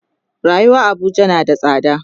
rayuwar Abuja na da tsada